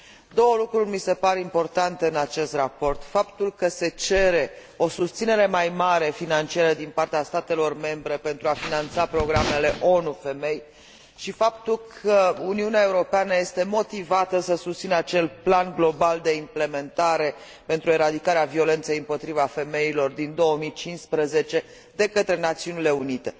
Două lucruri mi se par importante în acest raport faptul că se cere o susținere mai mare financiară din partea statelor membre pentru a finanța programele ONU pentru femei și faptul că Uniunea Europeană este motivată să susțină acel plan global de implementare pentru eradicarea violenței împotriva femeilor din 2015 de către Națiunile Unite.